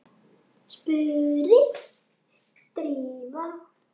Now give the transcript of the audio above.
spurði Drífa.